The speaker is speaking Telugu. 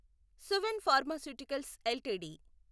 Suven pharmaceuticals LTD